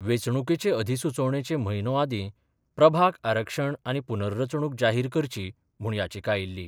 वेंचणुकेचे अधिसुचोवणेचे म्हयनो आदीं प्रभाग आरक्षण आनी पूनर्रचणूक जाहीर करची म्हूण याचिका आयिल्ली.